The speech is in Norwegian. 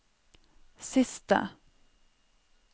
siste